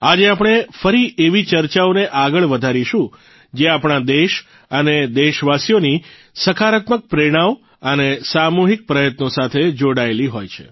આજે આપણે ફરી એવી ચર્ચાઓને આગળ વધારીશું જે આપણા દેશ અને દેશવાસીઓની સકારાત્મક પ્રેરણાઓ અને સામૂહિક પ્રયત્નો સાથે જોડાયેલી હોય છે